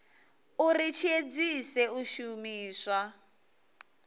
uri tshi edzise u shumisa